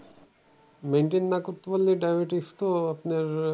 Maintain না করতে পারলে diabetes তো আপনার